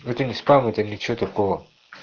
это не спам это ничего такого